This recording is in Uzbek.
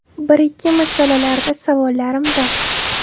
Bir-ikki masalalarda savollarim bor.